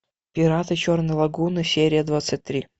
пираты черной лагуны серия двадцать три